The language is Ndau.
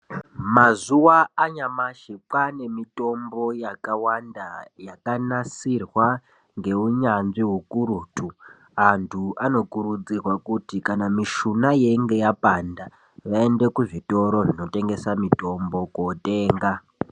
Mazuva anyamashi kwavane nemutombo yakawanda yakanasirwa ngeunyanzvi hukurutu antu anokurudzirwa kuti kana mishuna inenge yapanda vaende kuzvitoro zvinotengesa mitombo kuwotenga.